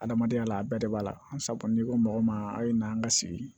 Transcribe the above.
Adamadenya la a bɛɛ de b'a la sabu n'i ko mɔgɔ ma a ye na an ka sigi